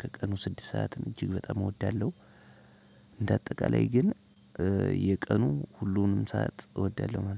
ከቀኑ ስድስት ሰዓትን እጅግ በጣም እወዳለሁ። እንደ አጠቃላይ ግን የቀኑ ሁሉንም ሰዓት እወዳለሁ ማለት ነው።